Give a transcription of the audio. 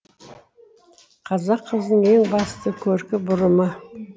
қазақ қызының ең басты көркі бұрымы